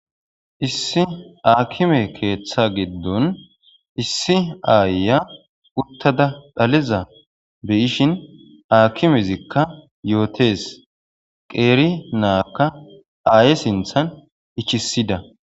issi aakime keeththa giddon issi aayiya uttada dhaliza beyishin aakimezikka yootes qeeri naakka aaye sinthan ichisida